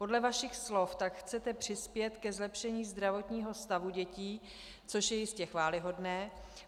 Podle vašich slov tak chcete přispět ke zlepšení zdravotního stavu dětí, což je jistě chvályhodné.